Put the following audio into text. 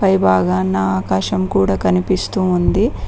ఈ భాగాన ఆకాశం కూడా కనిపిస్తూ ఉంది.